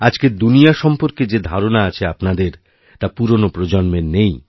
আজকের দুনিয়া সম্পর্কে যে ধারণা আছে আপনাদেরতা পুরনো প্রজন্মের নেই